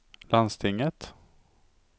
landstinget